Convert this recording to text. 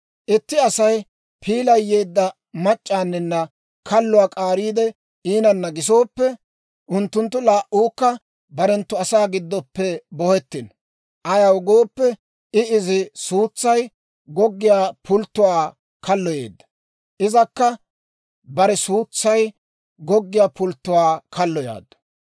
Itti Asay piilay yeedda mac'c'aani kalluwaa k'aariide iinanna gisooppe, unttunttu laa"uukka barenttu asaa giddoppe bohettino. Ayaw gooppe I izi suutsay goggiyaa pulttuwaa kalloyeedda; izakka bare suutsay goggiyaa pulttuwaa kalloyaaddu.